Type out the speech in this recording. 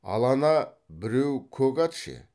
ал ана біреу көк ат ше